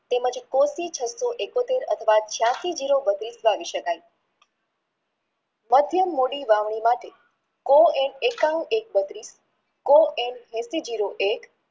તેમજ કો થી છસો એકોતેર છયાસી જીરો બત્રીશ વાવી શકાય માધ્યમનવી માટે કો એમ એકનું એક બત્રીસ કો એમ એંશી જીરો એક